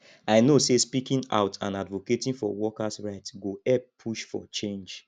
i know say speaking out and advocating for workers right go help push for change